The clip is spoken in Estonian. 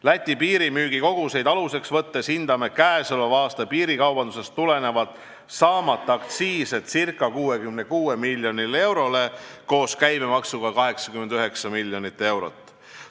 Läti piiril toimuva piirimüügi koguseid aluseks võttes hindame käesoleva aasta piirikaubandusest tulenevat saamata aktsiisi ca 66 miljonile eurole, koos käibemaksuga 89 miljonile eurole.